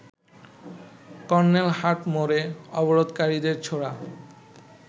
কর্নেলহাটমোড়ে অবরোধকারীদের ছোড়া